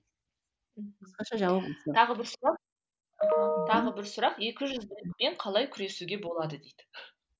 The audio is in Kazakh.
тағы бір сұрақ тағы бір сұрақ екіжүзділікпен қалай күресуге болады дейді